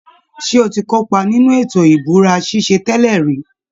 Ṣé o ti kópa nínú ètò ìbúra ṣíṣe tẹ́lẹ̀ rí?